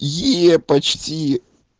её почти